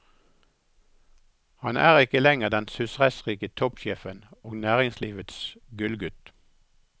Han er ikke lenger den susessrike toppsjefen og næringslivets gullgutt.